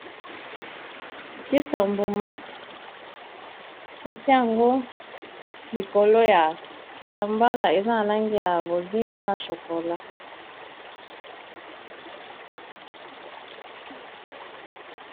kisa mbuma batia yango likolo ya kitambala eza na langi ya bozinga na chopola